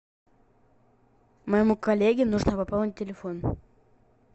моему коллеге нужно пополнить телефон